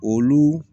Olu